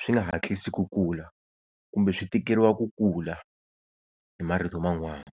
swi nga hatlisi ku kula, kumbe swi tikeriwa ku kula hi marito man'wana